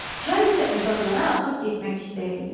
Çay isə uzaqlara axıb getmək istəyirdi.